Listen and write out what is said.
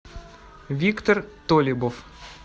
виктор толибов